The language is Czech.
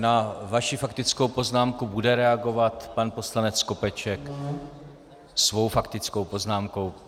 Na vaši faktickou poznámku bude reagovat pan poslanec Skopeček svou faktickou poznámkou.